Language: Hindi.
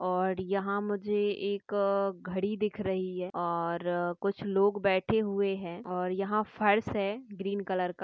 और यहाँ मुझे एक अह घड़ी दिख रही है और कुछ लोग बैठे हुए है और यहा फर्श है ग्रीन कलर का।